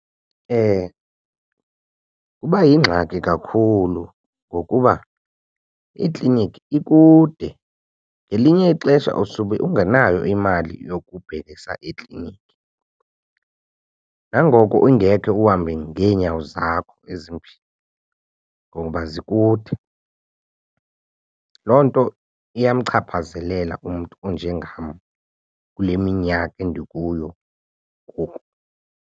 Kuba yingxaki kakhulu ngokuba ikliniki ikude ngelinye ixesha usube ungenayo imali yokubhekisa ekliniki. Nangoko ungekhe uhambe ngeenyawo zakho ezimbini ngoba zikude. Loo nto iyamchaphazelela umntu onjengam kule minyaka endikuyo ngoku.